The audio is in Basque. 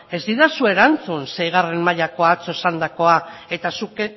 ez didazu erantzun seigarren mailakoa atzo esandakoa eta zuk